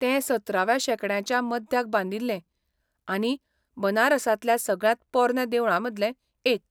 तें सतराव्या शेंकड्याच्या मध्याक बांदिल्लें, आनी बनारसांतल्या सगळ्यांत पोरन्या देवळांमदलें एक.